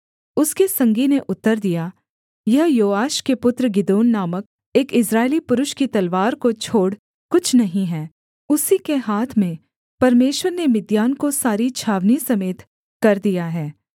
उसके संगी ने उत्तर दिया यह योआश के पुत्र गिदोन नामक एक इस्राएली पुरुष की तलवार को छोड़ कुछ नहीं है उसी के हाथ में परमेश्वर ने मिद्यान को सारी छावनी समेत कर दिया है